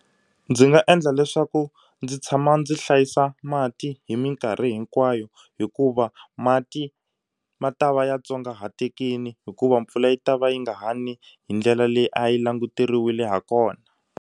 Ndzi nga endla leswaku ndzi tshama ndzi hlayisa mati hi mikarhi hinkwayo hikuva mati ma ta va ya tsongahatekile hikuva mpfula yi ta va yi nga ni hi ndlela leyi a yi languteriwile ha kona.